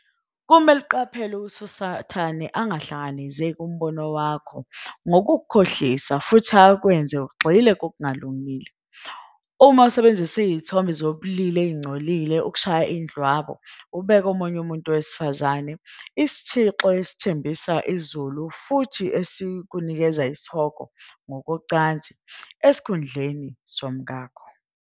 Kumele uqaphele ukuthi uSathane angahlanekezeli umbono wakho ngokukukhohlisa futhi akwenze ugxile kokungalungile. Uma usebenzisa izithombe zobulili ezingcolile ukushaya indlwabu, ubeka omunye umuntu wesifazane, isithixo esithembisa izulu futhi esikunikeza isihogo, ngokocansi, esikhundleni somkakho.